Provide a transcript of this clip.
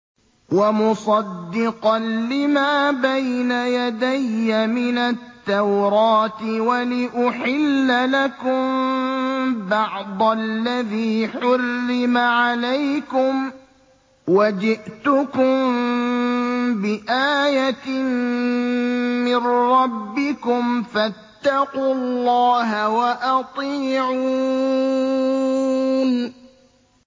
وَمُصَدِّقًا لِّمَا بَيْنَ يَدَيَّ مِنَ التَّوْرَاةِ وَلِأُحِلَّ لَكُم بَعْضَ الَّذِي حُرِّمَ عَلَيْكُمْ ۚ وَجِئْتُكُم بِآيَةٍ مِّن رَّبِّكُمْ فَاتَّقُوا اللَّهَ وَأَطِيعُونِ